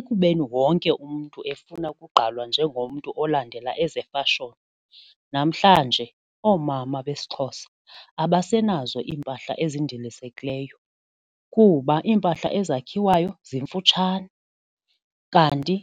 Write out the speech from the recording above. Ekubeni wonke umntu efuna ukugqalwa njengomntu olandela ezefashoni, namhlanje oomama besiXhosa abasenazo iimpahla ezindilisekileyo kuba iimpahla ezakhiwayo zimfutshane kanti